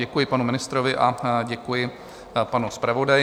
Děkuji panu ministrovi a děkuji panu zpravodaji.